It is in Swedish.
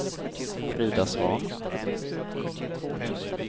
Frida Svahn